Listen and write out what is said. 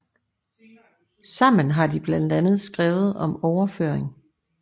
Sammen har de blandt andet skrevet om overføring